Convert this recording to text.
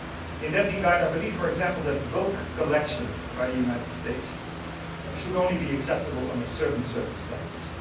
In that regard I believe, for example, that bulk collection by the United States should only be acceptable under certain circumstances.